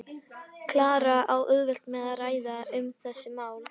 Klara á auðvelt með að ræða um þessi mál.